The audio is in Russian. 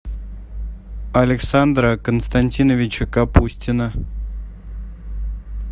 александра константиновича капустина